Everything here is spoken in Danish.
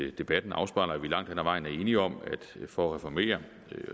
at debatten afspejler at vi langt hen ad vejen er enige om at det for at reformere